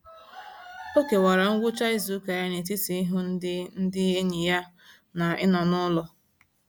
O kewara ngwụcha izuụka ya n'etiti ịhụ ndị ndị enyi ya na ịnọ n'ụlọ.